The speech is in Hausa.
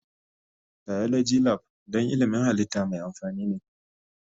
Biology Lab don ilmin halitta mai amfani ne.